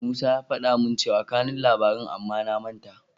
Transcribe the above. Musa ya faɗa min cewa kanun labarin amma na manta.